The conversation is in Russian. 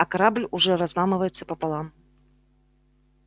а корабль уже разламывается пополам